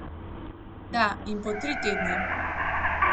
Da, in po tri tedne.